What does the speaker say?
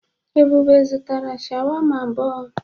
Ebube zụtara sháwámá abụọ.